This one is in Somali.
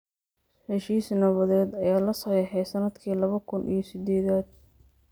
Heshiis nabadeed ayaa la saxeexay sannadkii laba kun iyo siddeedaad.